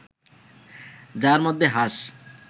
যার মধ্যে হাঁস